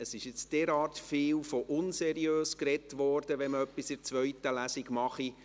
Es wurde derart viel von «unseriös» gesprochen, wenn man etwas in der zweiten Lesung mache.